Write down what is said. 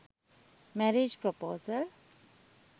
marriage praposal